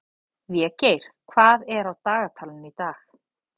Végeir, hvað er á dagatalinu í dag?